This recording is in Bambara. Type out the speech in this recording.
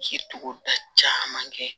Ji togo da caman kɛ